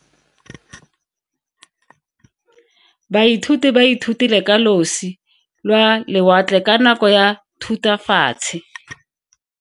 Baithuti ba ithutile ka losi lwa lewatle ka nako ya Thutafatshe.